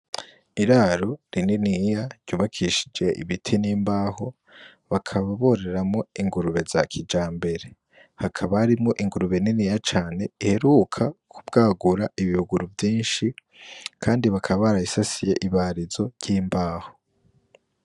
Iraro rininiya ryubakishije ibiti n'imbaho bakaba bororeramwo ingurube za kijambere. Hakaba harimwo ingurube niniya cane iheruka kubwagura ibibuguru vyinshi kandi bakaba barabisasiye ibarizo ry'imbaho.